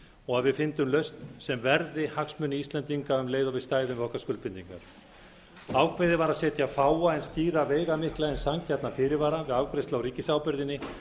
og að við fyndum lausn sem verði hagsmuni íslendinga um leið og við stæðum við okkar skuldbindingar ákveðið var að setja fáa en skýra veigamikla en sanngjarna fyrirvara við afgreiðslu á ríkisábyrgðinni